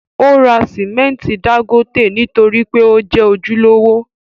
Ó ra simẹnti dángótè nítorí pé ó jẹ́ ojúlówó.